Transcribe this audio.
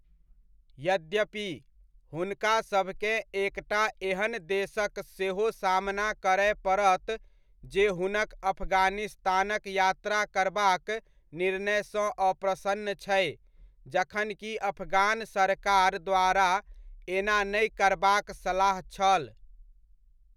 यद्यपि, हुनकासभकेँ एकटा एहन देशक सेहो सामना करय पड़त जे हुनक अफ़ग़ानिस्तानक यात्रा करबाक निर्णयसँ अप्रसन्न छै जखनकि अफ़ग़ान सरकार द्वारा एना नहि करबाक सलाह छल।